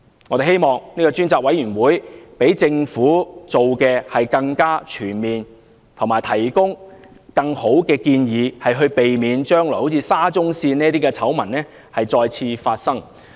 我們希望這個專責委員會比政府做得更全面及提出更好的建議，避免將來再次發生類似沙中線的醜聞。